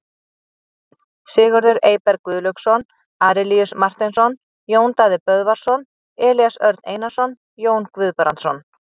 Varamenn: Sigurður Eyberg Guðlaugsson, Arilíus Marteinsson, Jón Daði Böðvarsson, Elías Örn Einarsson, Jón Guðbrandsson.